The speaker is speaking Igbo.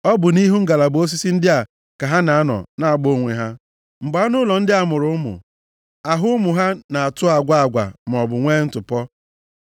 ọ bụ nʼihu ngalaba osisi ndị a ka ha na-anọ na-agba onwe ha. Mgbe anụ ụlọ ndị a mụrụ ụmụ, ahụ ụmụ ha na-atụ agwa agwa maọbụ nwe ntụpọ.